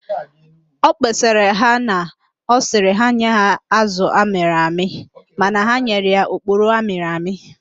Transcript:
Ọ kpesara na ọ sịrị ha nye ya azụ amịrị amị mana ha nyere ya oporo amịrị amị